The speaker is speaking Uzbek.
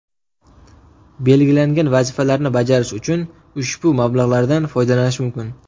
Belgilangan vazifalarni bajarish uchun ushbu mablag‘lardan foydalanish mumkin.